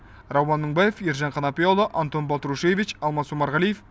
рауан мыңбаев ержан қанапияұлы антон балтрушевич алмас омарғалиев